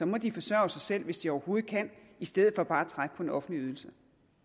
må de forsørge sig selv hvis de overhovedet kan i stedet for bare at trække på en offentlig ydelse